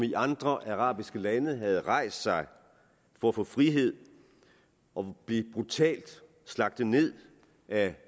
i andre arabiske lande havde rejst sig for at få frihed og blev brutalt slagtet ned af